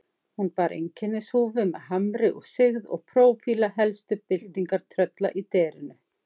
Hún bar einkennishúfu með hamri og sigð og prófíla helstu byltingartrölla í derinu.